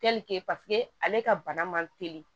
ale ka bana man teli